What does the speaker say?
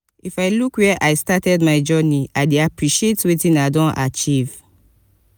if i look where i started my journey i dey appreciate wetin i don achieve.